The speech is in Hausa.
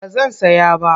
Ba zan saya ba.